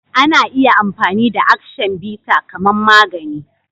Ana iya amfani da "Action bitter " kaman magani